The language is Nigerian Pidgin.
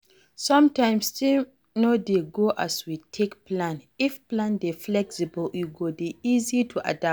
Sometimes things no dey go as we take plan, if plan dey flexible e go dey easy to adapt